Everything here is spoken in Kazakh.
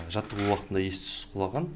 жаттығу уақытында ес түссіз құлаған